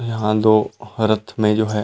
यहाँ दो हरत में जो है।